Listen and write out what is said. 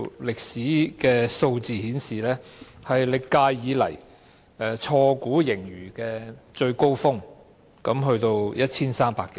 歷史上的數字顯示，這是歷屆以來錯估盈餘的最高峰，高達 1,300 多億元。